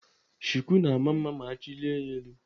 Shuku na-ama mma ma achilie ya elu.